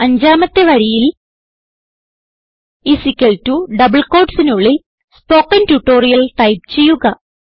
അഞ്ചാമത്തെ വരിയിൽ ഡബിൾ quottesന് ഉള്ളിൽ സ്പോക്കൻ ട്യൂട്ടോറിയൽ ടൈപ്പ് ചെയ്യുക